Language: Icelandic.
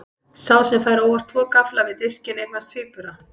Sá sem fær óvart tvo gaffla við diskinn eignast tvíbura.